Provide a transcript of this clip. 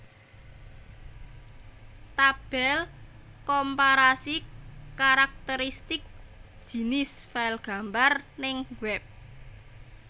Tabel komparasi karakteristik jinis file gambar ning web